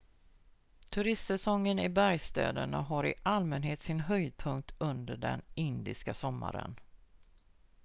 turistsäsongen i bergsstäderna har i allmänhet sin höjdpunkt under den indiska sommaren